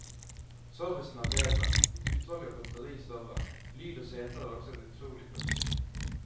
Servicen er bedre, utvalget av godteri større, lyd og seter er også et utrolig pluss.